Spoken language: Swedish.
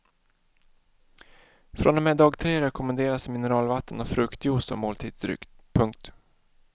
Från och med dag tre rekommenderas mineralvatten och fruktjuice som måltidsdryck. punkt